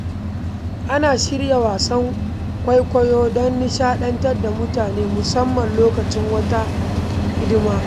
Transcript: Ana shirya wasan kwaikwayo don nishaɗantar da mutane, musamman lokacin wata hidima